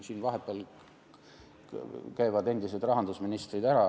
Siin vahepeal käivad ka endised rahandusministrid.